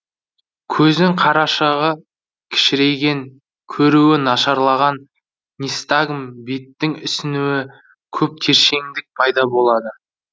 көздің қарашағы кішірейген көруі нашарлаған нистагм беттің ісінуі көп тершеңдік пайда болады